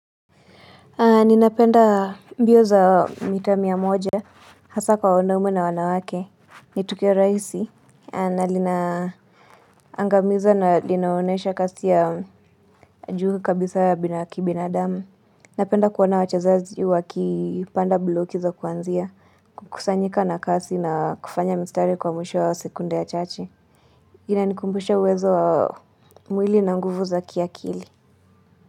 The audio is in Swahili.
Ninapenda mbio za mita mia moja hasa kwa wanaume na wanawake. Nitukio rahisi na linaangamiza na linaonesha kasi ya juu kabisa ya binadamu. Napenda kuona wachezaji wakipanda bloki za kuanzia. Kukusanyika na kasi na kufanya mistari kwa mwisho wa sekunde ya chache. Inanikumbusha uwezo wa mwili na nguvu za kia akili.